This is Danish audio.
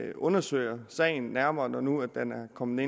vi undersøger sagen nærmere når nu den er kommet